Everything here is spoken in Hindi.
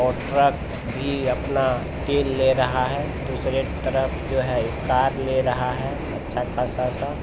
और ट्रक भी अपना तेल ले रहा है। दूसरे तरफ जो है एक कार ले रहा है अच्छा खासा सा।